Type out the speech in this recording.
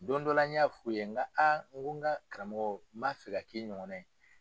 Don dɔ la n y'a fɔ ye nka aa n ka karamɔgɔw n ba fɛ k'i ɲɔgɔn na ye.